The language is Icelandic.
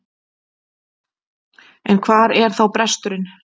En hvar er þá bresturinn?